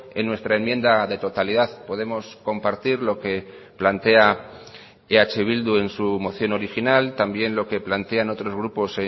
en nuestra enmienda de totalidad podemos compartir lo que plantea eh bildu en su moción original también lo que plantean otros grupos